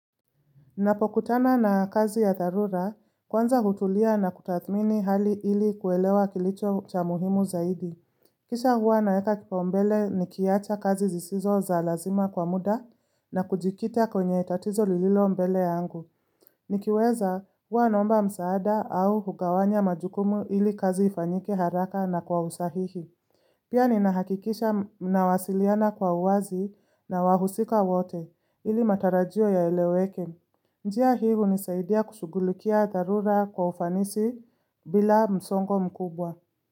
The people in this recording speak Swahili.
Napokutana na kazi ya dharura, kwanza hutulia na kutathmini hali ili kuelewa kilicho cha muhimu zaidi. Kisha huwa naeka kipau mbele ni kiacha kazi zisizo za lazima kwa muda na kujikita kwenye itatizo lililo mbele angu. Nikiweza huwa nomba msaada au hugawanya majukumu ili kazi ifanyike haraka na kwa usahihi. Pia ni nahakikisha na wasiliana kwa uwazi na wahusika wote ili matarajio ya eleweke. Njia hii hunisaidia kusugulukia dharura kwa ufanisi bila msongo mkubwa.